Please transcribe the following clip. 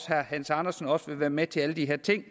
herre hans andersen også vil være med til alle de her ting